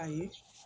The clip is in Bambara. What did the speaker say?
Ayi